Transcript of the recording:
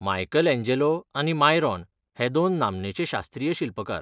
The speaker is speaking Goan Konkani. मायकलएँजेलो आनी मायरॉन हे दोन नामनेचे शास्त्रीय शिल्पकार.